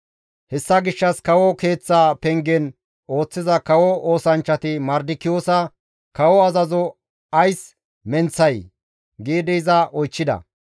Hessa gishshas kawo keeththa pengen ooththiza kawo oosanchchati Mardikiyoosa, «Kawo azazo ays menththay?» giidi iza oychchida.